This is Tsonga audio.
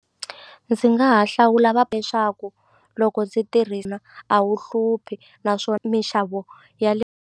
Ndzi nga ha hlawula va leswaku loko ndzi a wu hluphi na swo minxavo ya le.